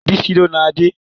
Bísí ló na Adé